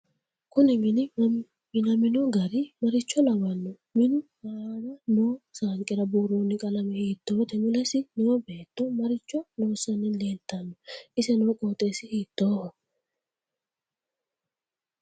Kuni mini minamino gari maricho lawanno minu aana noo saanqira buurooni qalame hiitoote mulesi noo beetto maricho loosani leeltsnno ise noo qooxeesi hiitooho